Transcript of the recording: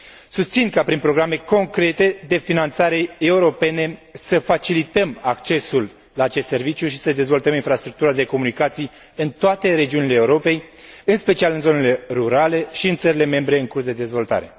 Susțin ca prin programe concrete de finanțare europene să facilităm accesul la acest serviciu și să i dezvoltăm infrastructura de comunicații în toate regiunile Europei, în special în zonele rurale și în țările membre în curs de dezvoltare.